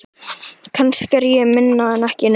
Kannski er ég minna en ekki neitt.